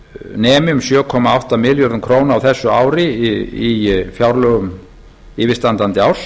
nemi um sjö komma átta milljörðum króna á þessu ári í fjárlögum yfirstandandi árs